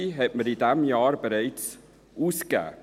Die Hälfte hat man in diesem Jahr bereits ausgegeben.